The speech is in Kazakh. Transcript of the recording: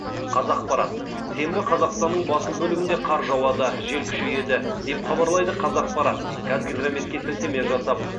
қазақпарат сенбі қазақстанның басым бөлігінде қар жауады жел күшейеді деп хабарлайды қазақпарат қазгидрометке сілтеме жасап